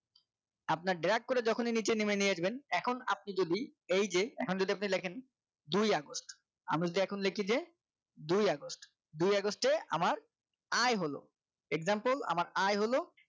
আপনার drag করে যখনই নিচে নামিয়ে নিয়ে যাবেন এখন আপনি যদি এই যে এখন যদি আপনি দেখেন দুই আগস্ট আমরা যদি এখন লিখি যে দুই আগস্ট দুই আগস্টে আমার আয় হল example আমার আয় হলো